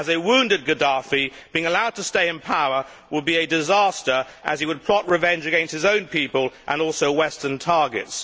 a wounded Gaddafi being allowed to stay in power would be a disaster as he would plot revenge against his own people and also Western targets.